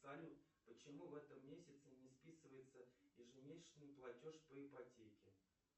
салют почему в этом месяце не списывается ежемесячный платеж по ипотеке